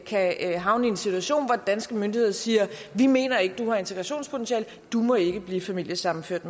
kan havne i en situation hvor de danske myndigheder siger vi mener ikke at du har integrationspotentiale du må ikke blive familiesammenført